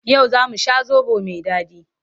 Yau za mu sha zaɓo mai daɗi.